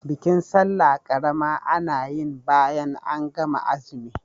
Bikin sallah ƙarama ana yin bayan an gama zumi.